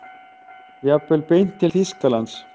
Jafnvel beint til Þýskalands.